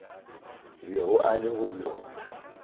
bego a le go bjona